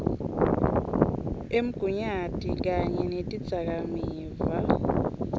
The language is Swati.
emgunyati kanye netidzakamiva